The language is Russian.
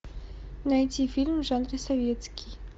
найти фильм в жанре советский